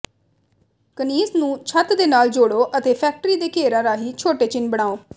ਕੰਨੀਂਜ਼ ਨੂੰ ਛੱਤ ਦੇ ਨਾਲ ਜੋੜੋ ਅਤੇ ਫੈਕਟਰੀ ਦੇ ਘੇਰਾਂ ਰਾਹੀਂ ਛੋਟੇ ਚਿੰਨ੍ਹ ਬਣਾਉ